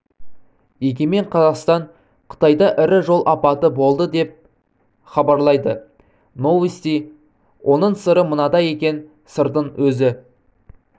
егемен қазақстан қытайда ірі жол апаты болды деп хабарлайды новости оның сыры мынада екен сырдың өзі